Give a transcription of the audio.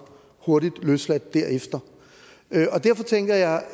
hurtigt løsladt derefter derfor tænker jeg